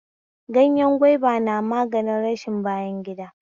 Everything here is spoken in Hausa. Ganyen gwaiba na magani rashin bayan gida